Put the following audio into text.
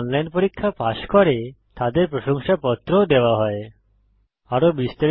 যারা অনলাইন পরীক্ষা পাস করে তাদের প্রশংসাপত্র সার্টিফিকেট ও দেওয়া হয়